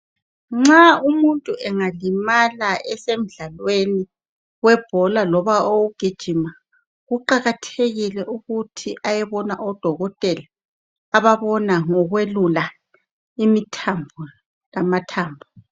Nxa umuntu engalimala esemdlalweni webhola loba owokugijima kuqakathekile ukuthi ayebona odokotela ababona ngokwelula imithambo lamathambo.